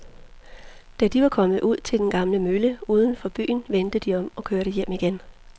Da de var kommet ud til den gamle mølle uden for byen, vendte de om og kørte hjem igen.